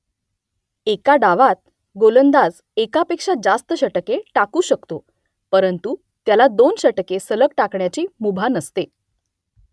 एका डावात गोलंदाज एकापेक्षा जास्त षटके टाकू शकतो परंतु त्याला दोन षटके सलग टाकण्याची मुभा नसते